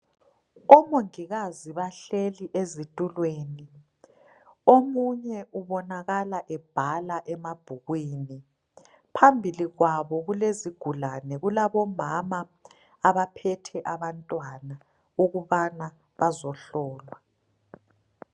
Omongikazi bahlezi ezithulweni, omunye ubonakala ebhala emabhukwini. Phambili kwabo ,kulezigulane kulabomama abaphethe abantwana ukubana bazohlolwa.